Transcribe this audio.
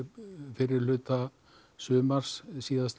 fyrri hluta sumars á síðasta